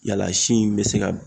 Yaala sin be se ka